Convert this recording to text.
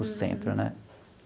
O centro, né?